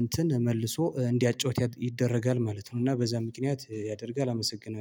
እንትን መልሶ እንዲያጫውት ይደረጋል ማለት ነው። እና በዛ ምክንያት ያደርጋል አመሰግናለሁ